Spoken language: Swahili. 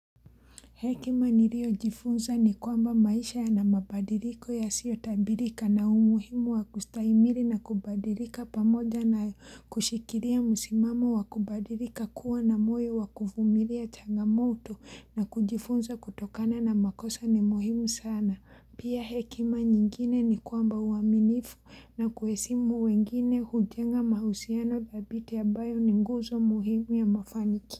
Hekima nirio jifunza ni kwamba maisha yana mabadiliko ya sio tabirika na umuhimu wa kustahimili na kubadilika pamoja na kushikiria musimamo wa kubadilika kuwa na moyo wa kufumilia changamoto na kujifunza kutokana na makosa ni muhimu sana. Pia hekima nyingine ni kwamba uaminifu na kuhesimu wengine hujenga mahusiano dhabiti ya ambayo ni nguzo muhimu ya mafanikio.